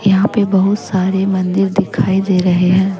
यहां पे बहुत सारे मंदिर दिखाई दे रहे हैं।